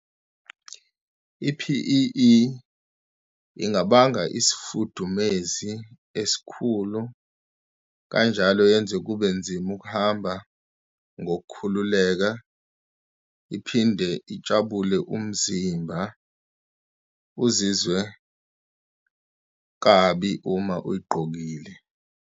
I-P_E_E ingabanga isifudumezi esikhulu, kanjalo yenze kube nzima ukuhamba ngokukhululeka, iphinde itshabule umzimba, uzizwe kabi uma uyigqokile.